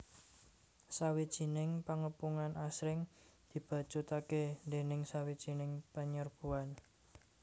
Sawijining pangepungan asring dibacutaké déning sawijining panyerbuan